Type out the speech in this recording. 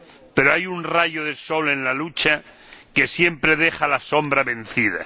Pero hay un rayo de sol en la lucha que siempre deja la sombra vencida.